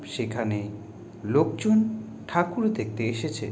সেখানে লোকজন ঠাকুর দেখতে এসেছে।